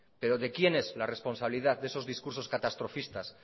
pero de quién es la responsabilidad de esos discursos catastrofistas